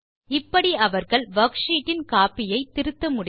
இப்படி அவர்கள் வர்க்ஷீட் இன் கோப்பி ஐ திருத்த முடியும்